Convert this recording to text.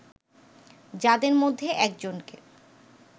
যাদের মধ্যে একজনকে